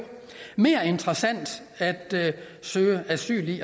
mere interessant at søge asyl i